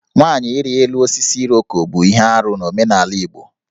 Nwanyị ịrị elu osisi Iroko bụ ihe arụ n'omenala Igbo